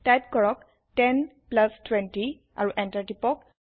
type কৰক 10 plus 20 অৰু enter টিপক